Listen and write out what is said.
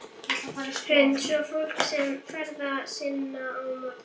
Hrund: Svo fólk kemst ferða sinna á morgun?